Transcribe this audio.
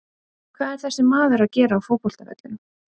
Hvað er þessi maður að gera á fótbolta vellinum?